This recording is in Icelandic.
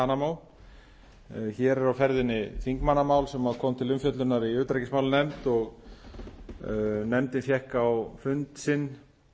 guantanamo hér er á ferðinni þingmannamál sem kom til umfjöllunar í utanríkismálanefnd nefndin fékk á fund sinn